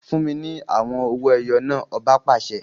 Fún mi ní awọn owó ẹyọ náà! ọba pàṣẹ